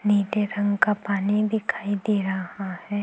नीले रंग का पानी दिखाई दे रहा है।